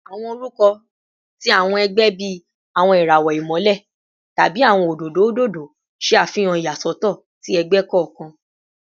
Awọn orukọ ti awọn ẹgbẹ bii “Awọn irawọ Imọlẹ” tabi “Awọn ododo ododo” ṣe afihan iyasọtọ ti ẹgbẹ kọọkan